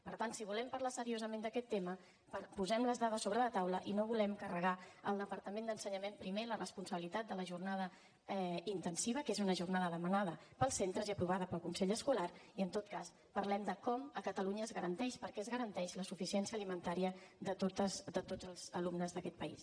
per tant si volem parlar seriosament d’aquest tema posem les dades sobre la taula i no vulguem carregar al departament d’ensenyament primer la responsabilitat de la jornada intensiva que és una jornada demanda pels centres i aprovada pel consell escolar i en tot cas parlem de com a catalunya es garanteix perquè es garanteix la suficiència alimentària de tots els alumnes d’aquest país